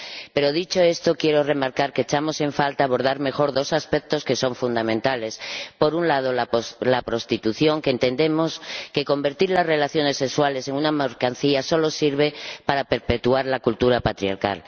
Pero, dicho esto, quiero remarcar que echamos en falta abordar mejor dos aspectos que son fundamentales por un lado, la prostitución, porque entendemos que convertir las relaciones sexuales en una mercancía solo sirve para perpetuar la cultura patriarcal.